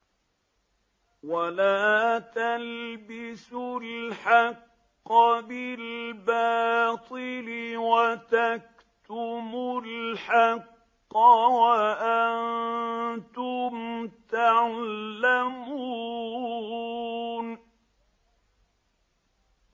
وَلَا تَلْبِسُوا الْحَقَّ بِالْبَاطِلِ وَتَكْتُمُوا الْحَقَّ وَأَنتُمْ تَعْلَمُونَ